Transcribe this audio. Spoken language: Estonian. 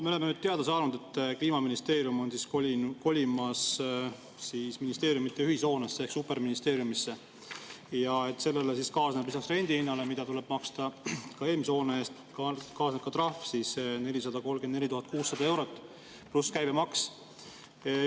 Me oleme nüüd teada saanud, et Kliimaministeerium on kolimas ministeeriumide ühishoonesse ehk superministeeriumisse ja et sellega kaasneb lisaks rendihinnale, mida tuleb maksta, ka eelmise hoone eest trahv 434 600 eurot pluss käibemaks.